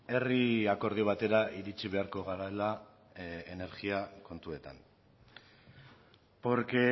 herri akordio batera iritsi beharko garela energia kontuetan porque